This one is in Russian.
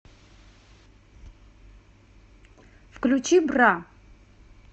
включи бра